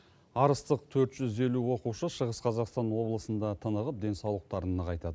арыстық төрт жүз елу оқушы шығыс қазақстан облысында тынығып денсаулықтарын нығайтады